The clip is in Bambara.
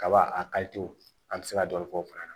Kaba a an bɛ se ka dɔ fɔ o fana na